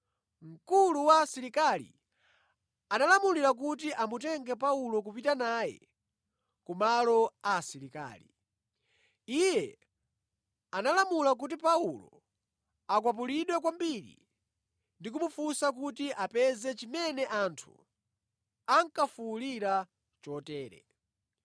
mkulu wa asilikali analamulira kuti amutenge Paulo kupita naye ku malo a asilikali. Iye analamula kuti Paulo akwapulidwe kwambiri ndi kumufunsa kuti apeze chimene anthu ankafuwulira chotere.